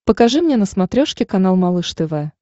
покажи мне на смотрешке канал малыш тв